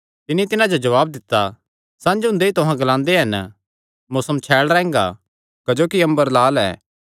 तिन्नी तिन्हां जो जवाब दित्ता संझ हुंदे ई तुहां ग्लांदे हन मौसम छैल़ रैंह्गा क्जोकि अम्बर लाल ऐ